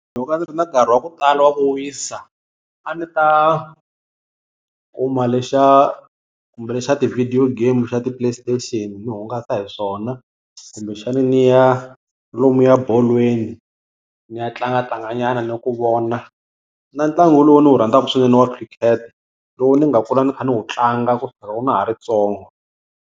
Loko a ndzi ri na nkarhi wa ku tala wa ku wisa, a ni ta kuma lexa kumbe lexa ti-video game xa ti-play station ni hungasa hi swona. Kumbexana ni ya lomuya bolweni ni ya tlangatlanganyana ni ku vona na ntlangu lowu ndzi wu rhandzaka swinene wa Cricket lowu ni nga kula ni kha ni wu tlanga kusukela loko na ha ri ntsongo.